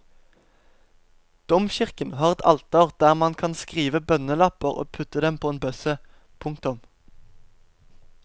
Domkirken har et alter der man kan skrive bønnelapper og putte på en bøsse. punktum